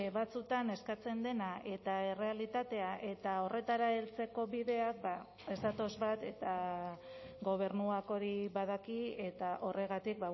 batzuetan eskatzen dena eta errealitatea eta horretara heltzeko bidea ez datoz bat eta gobernuak hori badaki eta horregatik